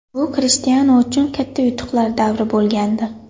Bu Krishtianu uchun katta yutuqlar davri bo‘lgandi.